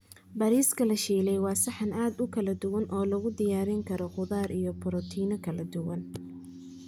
Bariiska la shiilay waa saxan aad u kala duwan oo lagu diyaarin karo khudaar iyo borotiinno kala duwan.